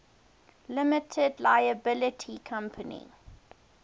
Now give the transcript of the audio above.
limited liability company